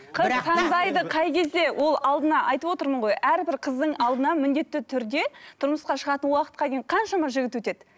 қыз таңдайды қай кезде ол алдына айтып отырмын ғой әрбір қыздың алдына міндетті түрде тұрмысқа шығатын уақытқа дейін қаншама жігіт өтеді